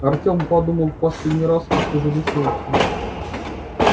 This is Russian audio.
артём подумал в последний раз и всё же решился